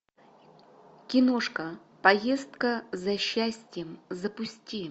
киношка поездка за счастьем запусти